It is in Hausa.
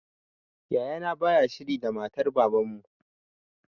Yaya na baya shiri da matar baban mu